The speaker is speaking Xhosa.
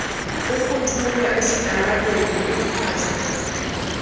ukuthuka esitalatweni ukukhwaza